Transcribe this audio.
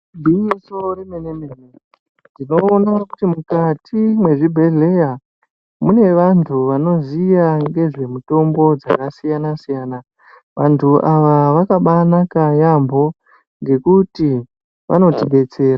Igwinyiso remene-mene, tinoona kuti mukati mezvibhedhlera mune vantu vanoziya ngezvemitombo dzakasiyana-siyana. Vantu ava vakabanaka yaamho ngekuti vanotidetsera.